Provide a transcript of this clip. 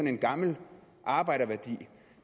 en gammel arbejderværdi